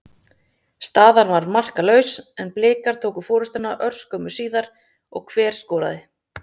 Staðan var markalaus en Blikar tóku forystuna örskömmu síðar og hver skoraði?